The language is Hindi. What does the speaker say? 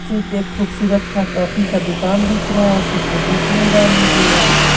सिर्फ एक खूबसूरत का कॉफी का दुकान दिख रहा है और कुछ तो दिख नहीं रहा मुझे--